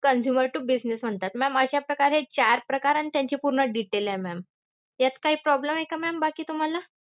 Consumer to business म्हणतात. Ma'am अशा प्रकारे हे चार प्रकार अन त्यांचे पूर्ण detail आहे ma'am. यात काही problem आहे का ma'am बाकी तुम्हाला?